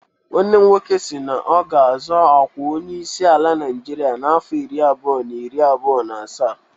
Nwanne m nwoke si na ọ ga-azọ ọkwa Onyeisi ala Naịjirịa n'afọ iri abụọ na iri abụọ na asaa.